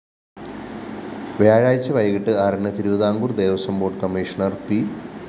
വ്യാഴാഴ്ച വൈകിട്ട് ആറിന് Thiruvithamkoor‍ Devaswom board commissioner P